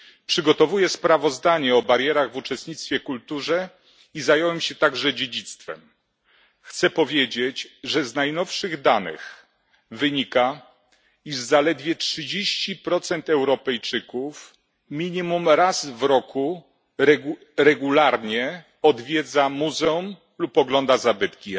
Przygotowuję sprawozdanie o barierach w uczestnictwie w kulturze i zająłem się także dziedzictwem. Chcę powiedzieć, że z najnowszych danych wynika, iż zaledwie 30 Europejczyków minimum raz w roku regularnie odwiedza muzeum lub ogląda zabytki.